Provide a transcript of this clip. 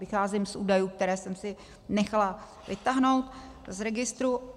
Vycházím z údajů, které jsem si nechala vytáhnout z registru.